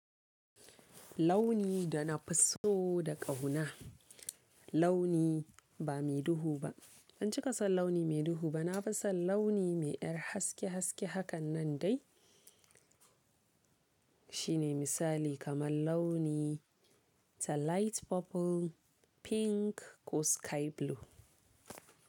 Launi da na fi so da ƙauna. Launi ba me duhu ba. Ban cika son launi mai duhu ba, na fi son launi mai yar haske haske hakan nan dai. Shine misali kamar launi ta light purple, pink ko sky blue.